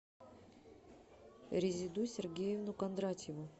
резиду сергеевну кондратьеву